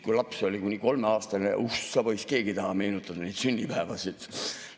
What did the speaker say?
Kui laps oli kuni kolmeaastane – oh sa poiss, keegi ei taha meenutada neid sünnipäevasid.